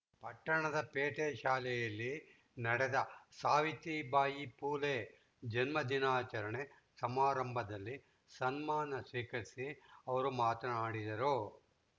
ಪಟ್ಟಣದ ಪೇಟೆ ಶಾಲೆಯಲ್ಲಿ ನಡೆದ ಸಾವಿತ್ರಿ ಬಾಯಿ ಪುಲೆ ಜನ್ಮ ದಿನಾಚರಣೆ ಸಮಾರಂಭದಲ್ಲಿ ಸನ್ಮಾನ ಸ್ವೀಕರಿಸಿ ಅವರು ಮಾತನಾಡಿದರು